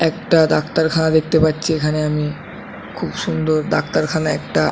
একটা ডাক্তারখানা দেখতে পাচ্ছি এখানে আমি খুব সুন্দর ডাক্তারখানা একটা ।